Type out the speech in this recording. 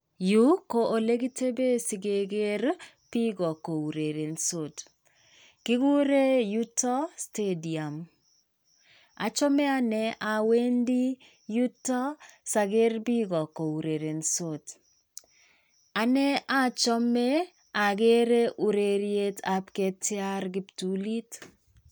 Yuu ko olekitebee sikeker biik kourerensot. Kiguren yuto Stadium. Achome ane awendi yuto saker biik kourerensot. Ane achome akere urerietab ketiar kiptulit.